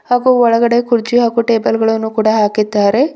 ಅದು ಒಳಗಡೆ ಕುರ್ಚಿ ಹಾಗೂ ಟೇಬಲ್ ಗಳನ್ನು ಕೂಡ ಹಾಕಿದ್ದಾರೆ.